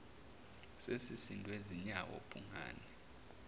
sesisindwe zinyawo bhungane